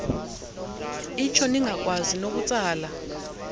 itsho ningakwazi nokutsala